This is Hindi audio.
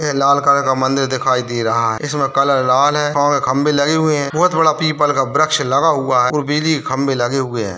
ये लाल कलर का मंदिर दिखाई दे रहा है इसमे कलर लाल है खंबे लगे हुए हैं बहुत बड़ा पीपल का वृक्ष लगा हुआ और बिजली के खंभे लगे हुए हैं।